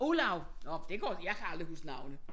Olav nåh det går jeg kan aldrig huske navne